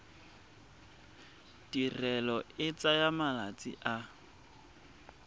tirelo e tsaya malatsi a